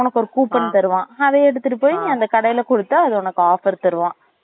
உனக்கு ஒரு coupon தருவான் அதை எடுத்துட்டு போய் நீ அந்த கடைல குடுத்த அது உனக்கு ஒரு offer தருவான்